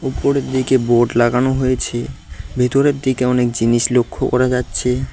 উপরের দিকে বোড লাগানো হয়েছে ভিতরের দিকে অনেক জিনিস লক্ষ্য করা যাচ্ছে।